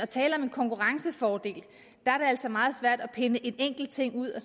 tale om en konkurrencefordel er det altså meget svært at pille en enkelt ting ud og